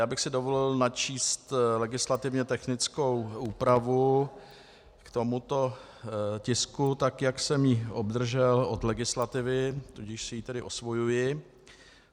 Já bych si dovolil načíst legislativně technickou úpravu k tomuto tisku tak, jak jsem ji obdržel od legislativy, tudíž si ji tedy osvojuji.